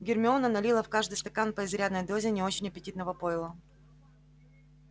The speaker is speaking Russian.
гермиона налила в каждый стакан по изрядной дозе не очень аппетитного пойла